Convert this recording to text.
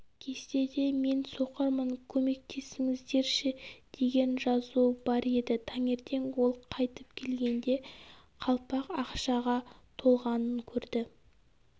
кестеде мен соқырмын көмектесіңіздерші деген жазу бар еді таңертең ол қайтып келгенде қалпақ ақшаға толғанын көреді